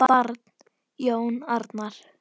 Barn: Jón Arnar.